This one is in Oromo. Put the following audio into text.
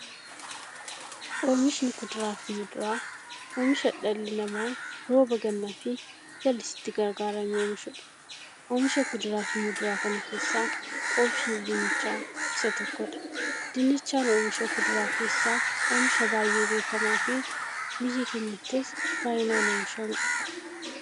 Oomishni kuduraaf muduraa, oomisha dhalli namaa rooba gannaafi jallisiitti gargaaramee oomishuudha. Oomisha kuduraaf muduraa kana keessaa, oomishni dinnichaa isa tokkodha. Dinnichaan oomisha kuduraa keessaa oomisha baay'ee beekamaafi biyya keenyattis baay'inaan oomishamuudha.